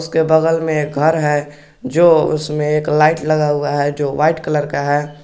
उसके बगल में एक घर है जो उसमें एक लाइट लगा हुआ है जो वाइट कलर का है।